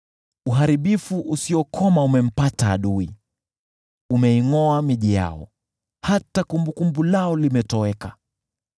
Uharibifu usiokoma umempata adui, umeingʼoa miji yao; hata kumbukumbu lao limetoweka.